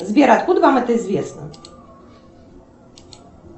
сбер откуда вам это известно